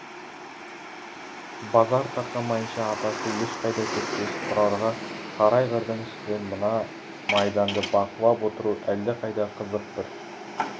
базар тарқамайынша атасы ешқайда кетпес тұрарға сары айғырдың үстінен мына майданды бақылап отыру әлдеқайда қызық бір